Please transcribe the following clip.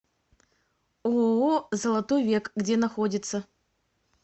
ооо золотой век где находится